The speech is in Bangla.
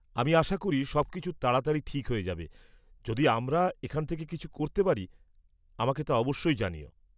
আমি আশা করি সবকিছু তাড়াতাড়ি ঠিক হয়ে যাবে; যদি আমরা এখান থেকে কিছু করতে পারি, আমাকে তা অবশ্যই জানিও।